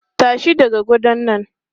Tashi daga gadon nan!